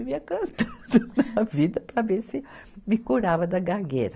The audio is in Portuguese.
Eu vivia cantando a vida para ver se me curava da gagueira.